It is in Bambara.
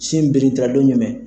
Sin birintila adon jumɛn?